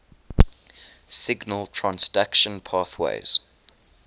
signal transduction pathways